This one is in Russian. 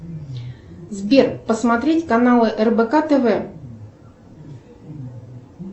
сбер посмотреть каналы рбк тв